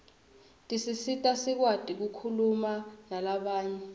tisisita sikwati kukhuluma nalabanye